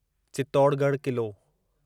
Chittorgarh Qila